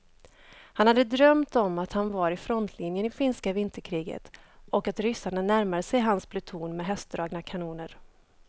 Han hade drömt om att han var i frontlinjen i finska vinterkriget och att ryssarna närmade sig hans pluton med hästdragna kanoner.